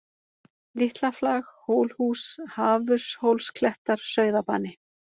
Litlaflag, Hólhús, Hafurshólsklettar, Sauðabani